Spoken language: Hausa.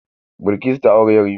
Bilkisu ta auri yarima.